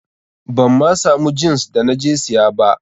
Ban ma samu jins da na je siya ba.